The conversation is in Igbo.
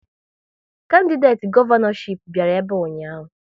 Kandideti gọvanọchip bịara ebe a ụnyaahụ